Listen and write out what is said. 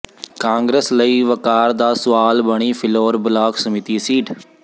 ਕਾਂਗਰਸ ਲਈ ਵਕਾਰ ਦਾ ਸੁਆਲ ਬਣੀ ਫਿਲੌਰ ਬਲਾਕ ਸਮਿਤੀ ਸੀਟ